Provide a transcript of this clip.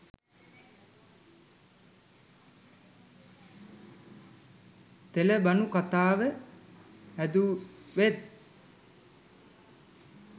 තෙලබනු කතාව හැදුවෙත්